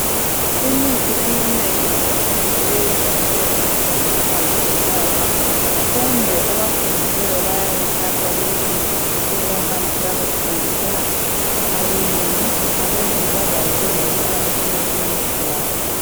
Imithi eminengi yesintu yejwayele ukuthengiswa yizinyanga. Kumbe abafundileyo bayayithatha, beyilungise besebehamb' ukuyayithengisela abelungu. Abelungu bazabe bezayifaka eminye imithi yabo.